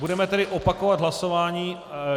Budeme tedy opakovat hlasování.